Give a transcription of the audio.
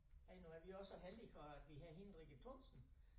Øh nu er vi også så heldige at vi havde hende Rikke Thomsen